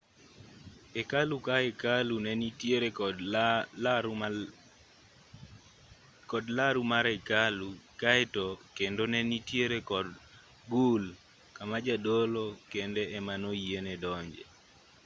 hekalu ka hekalu ne nitiere kod laru mar hekalu kaeto kendo ne nitiere kor gul kama jadolo kende ema noyiene donje